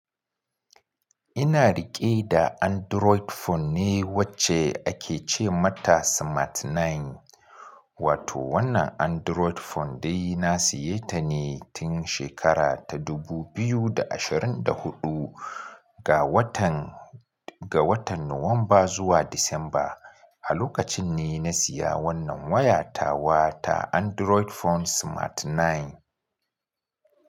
Ina riƙe da Android phone ne wacce ake ce mata Smart 9. Wato wannan Android phone dai na siyata ne tun shekara ta dubu biyu da ashirin da huɗu ga watan Nuwamba zuwa Disamba. A lokacin ne na siya wannan waya tawa ta Android phone Smart 9.